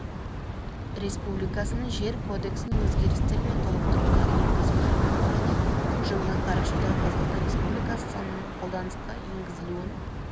республикасының жер кодексіне өзгерістер мен толықтырулар енгізу туралы жылғы қарашадағы қазақстан республикасы заңының қолданысқа енгізілуін